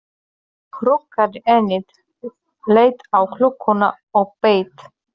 Magnús hrukkaði ennið, leit á klukkuna og beið.